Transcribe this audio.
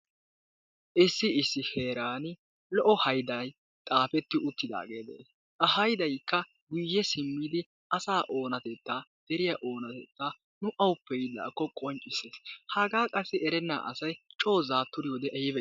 Issi issi heeran lo"o hayday xaafetti uttidaagee de'ees. Ha haydaykka guye simmidi asa onatettaa deriya onatettaa nu awuppe yiidaakko qonccissees hagaa qassi erenna asay coi zaaturiyode ayba iitii.